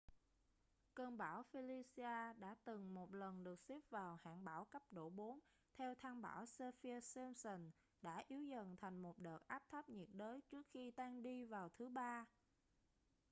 cơn bão felicia đã từng một lần được xếp vào hạng bão cấp độ 4 theo thang bão saffir-simpson đã yếu dần thành một đợt áp thấp nhiệt đới trước khi tan đi vào thứ ba